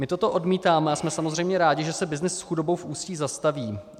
My toto odmítáme a jsme samozřejmě rádi, že se byznys s chudobou v Ústí zastaví.